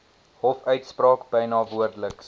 hofuitspraak byna woordeliks